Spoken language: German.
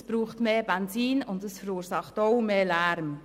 Das verbraucht mehr Benzin und verursacht auch mehr Lärm.